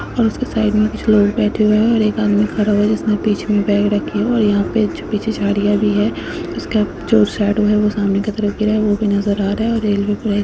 और उसके साइड में कुछ लोग बैठे हुए हैं और एक आदमी खड़ा हुआ है जिसने बीच में बैग रखी है और यहाँ पे पीछे झाडियां भी हैं। उसका जो शैडो है वो सामने की तरफ गिरा है वो भी नजर आ रहा है और रेलवे पर एक --